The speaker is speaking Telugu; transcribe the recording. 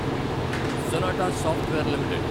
sonata software limited